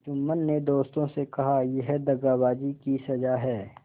जुम्मन ने दोस्तों से कहायह दगाबाजी की सजा है